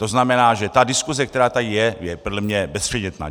To znamená, že ta diskuse, která tady je, je podle mě bezpředmětná!